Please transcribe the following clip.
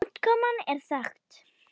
Útkoman er þekkt.